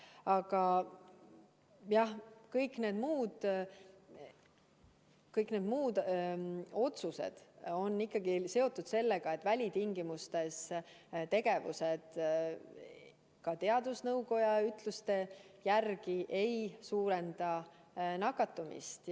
Aga jah, kõik meie otsused on ikkagi seotud sellega, et välitingimustes tegutsemine ka teadusnõukoja arvates ei suurenda nakatumist.